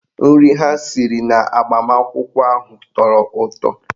Nri ha siri n'agbamakwụkwọ ahụ tọrọ ụtọ